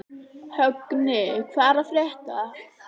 Högni, hvað er að frétta?